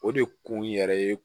O de kun yɛrɛ ye